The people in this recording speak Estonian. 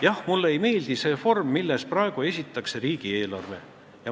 Jah, mulle ei meeldi see vorm, milles praegu riigieelarve esitatakse.